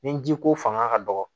Ni ji ko fanga ka dɔgɔ